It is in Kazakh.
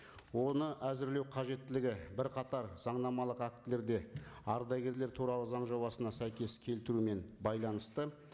оны әзірлеу қажеттілігі бірқатар заңнамалық актілерде ардагерлер туралы заң жобасына сәйкес келтірумен байланысты